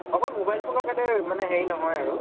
অকল mobile phone ৰ গাতে মানে হেৰি নহয় আৰু